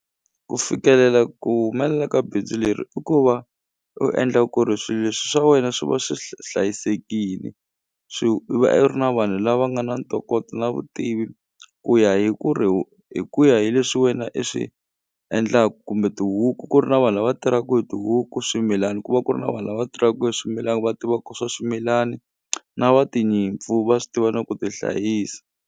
Ku fikelela ku humelela ka bindzu leri i ku va u endla ku ri swilo leswi swa wena swi va swi hlayisekini i va i ri na vanhu lava nga na ntokoto na vutivi ku ya hi ku ri hi ku ya hi leswi wena i swi endlaku kumbe tihuku ku ri na vanhu lava tirhaku hi tihuku swimilani ku va ku ri na vanhu lava va tirhaku hi swimilani va tivaku swa swimilani na va tinyimpfu va swi tiva na ku tihlayisa.